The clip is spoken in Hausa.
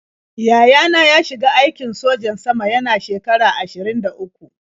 Yaya na ya shiga aikin sojan sama yana shekara ashirin da uku.